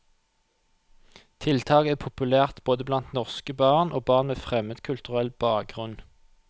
Tiltaket er populært både blant norske barn og barn med fremmedkulturell bakgrunn.